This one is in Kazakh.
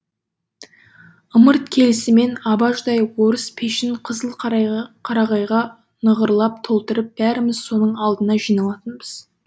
ымырт келісімен абажадай орыс пешін қызыл қарағайға нығырлап толтырып бәріміз соның алдына жиналатынбыз